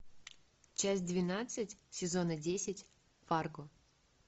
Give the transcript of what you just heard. часть двенадцать сезона десять фарго